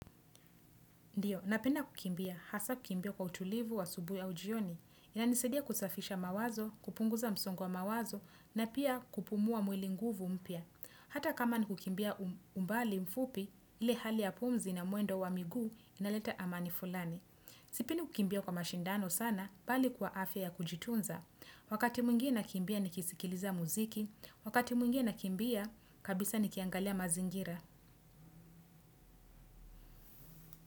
Ndiyo, napenda kukimbia, hasa kukimbia kwa utulivu wa asubuhi au jioni. Inanisaidia kusafisha mawazo, kupunguza msongo wa mawazo, na pia kupumua mwili nguvu mpya. Hata kama ni kukimbia umbali mfupi, ile hali ya pumzi na mwendo wa miguu inaleta amani fulani. Sipendi kukimbia kwa mashindano sana, bali kwa afya ya kujitunza. Wakati mwingine nakimbia nikisikiliza muziki, wakati mwingine nakimbia, kabisa nikiangalia mazingira.